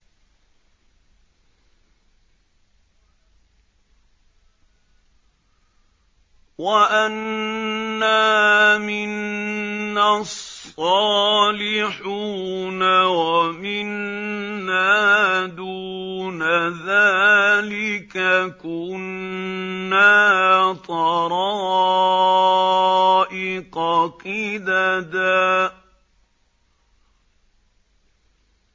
وَأَنَّا مِنَّا الصَّالِحُونَ وَمِنَّا دُونَ ذَٰلِكَ ۖ كُنَّا طَرَائِقَ قِدَدًا